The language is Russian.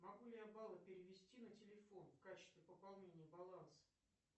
могу ли я баллы перевести на телефон в качестве пополнения баланса